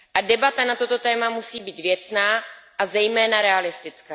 Debata na toto téma musí být věcná, a zejména realistická.